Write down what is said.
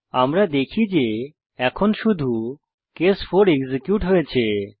আমরা দেখি যে এখন শুধু কেস 4 এক্সিকিউট হয়েছে